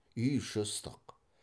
үй іші ыстық